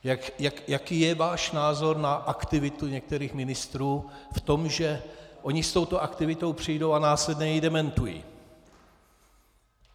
Jaký je váš názor na aktivitu některých ministrů v tom, že oni s touto aktivitou přijdou a následně ji dementují.